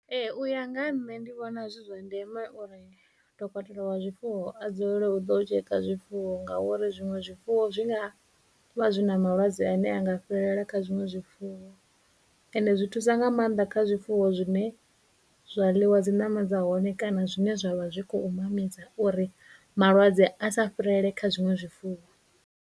Ee, u ya nga ha nṋe ndi vhona zwi zwa ndeme uri dokotela wa zwifuwo a dzulele u ḓo tsheka zwifuwo ngauri zwiṅwe zwifuwo zwi nga vha zwi na malwadze ane anga fhirela kha zwiṅwe zwifuwo, ende zwi thusa nga maanḓa kha zwifuwo zwine zwa ḽiwa dziṋama dza hone kana zwine zwa vha zwi khou mamisa uri malwadze a sa fhirele kha zwiṅwe zwifuwo.